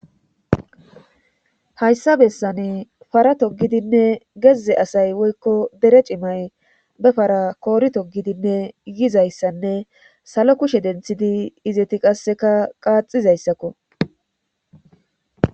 hayssa bessane fara togidinne gezze asay woykko dere cimay befara koori togidinne yizayssanne salo kushe denthidi izeti qasseka qaaxizayssakko